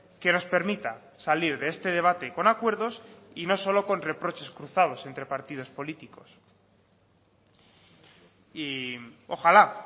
que nos permita salir de este debate con acuerdos y no solo con reproches cruzados entre partidos políticos y ojalá